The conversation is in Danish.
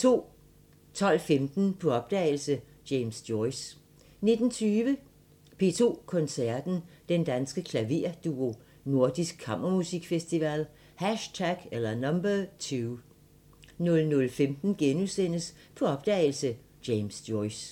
12:15: På opdagelse – James Joyce 19:20: P2 Koncerten – Den Danske Klaverduo – Nordisk Kammermusikfestival #2 00:15: På opdagelse – James Joyce *